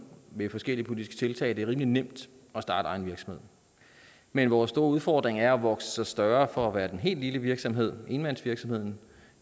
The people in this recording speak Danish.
ved forskellige politiske tiltag at det er rimelig nemt at starte egen virksomhed men vores store udfordring er at vokse sig større fra at være den helt lille virksomhed enmandsvirksomheden